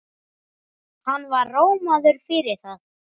Hann var rómaður fyrir það.